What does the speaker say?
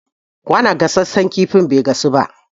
Wanan gasasshen kifin bai gasu ba